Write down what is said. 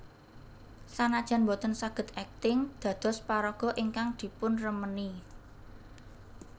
Sanajan boten saged akting dados paraga ingkang dipunremeni